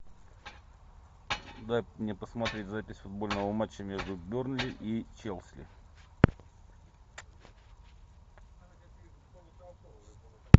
дай мне посмотреть запись футбольного матча между бернли и челси